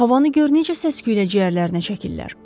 Havanı gör necə səs-küylə ciyərlərinə çəkirlər.